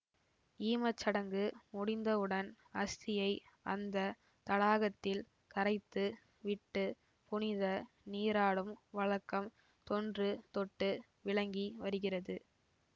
ஈமச்சடங்கு முடிந்தவுடன் அஸ்தியை அந்த தடாகத்தில் கரைத்து விட்டு புனித நீராடும் வழக்கம் தொன்று தொட்டு விளங்கி வருகிறது